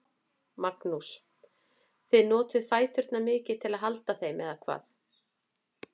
Magnús: Þið notið fæturna mikið til að halda þeim, eða hvað?